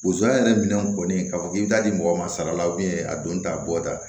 Bozo yɛrɛ minɛnw kɔni k'a fɔ k'i bi taa di mɔgɔ ma sara la a don ta bɔta